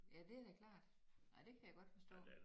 Ja det da klart ej det kan jeg godt forstå